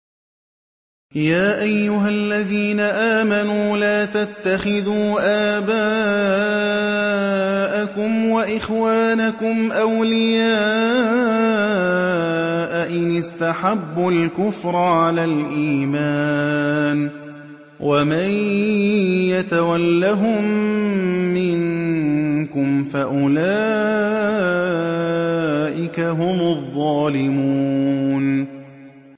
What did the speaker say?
يَا أَيُّهَا الَّذِينَ آمَنُوا لَا تَتَّخِذُوا آبَاءَكُمْ وَإِخْوَانَكُمْ أَوْلِيَاءَ إِنِ اسْتَحَبُّوا الْكُفْرَ عَلَى الْإِيمَانِ ۚ وَمَن يَتَوَلَّهُم مِّنكُمْ فَأُولَٰئِكَ هُمُ الظَّالِمُونَ